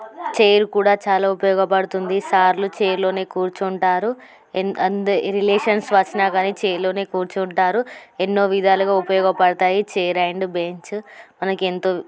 Chair కూడా చాలా ఉపయోగపడుతుంది. సార్లు చైరలోనే కూర్చుంటారు. రిలేషన్స్ వచ్చినా కానీ చైర్ లోనే కూర్చుంటారు. ఎన్నో విధాలుగా ఉపయోగపడతాయి. చైర్ అండ్ బెంచ్ మనకు ఎంతో--